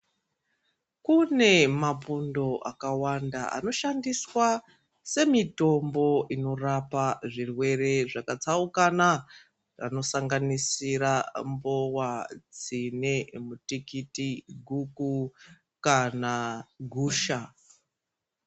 Kune mapundo akawanda anoshandiswa semitombo inorapa zvirwere zvakatsaukana anosanganisira mbowa, tsine, mutikiti, guku kana gusha.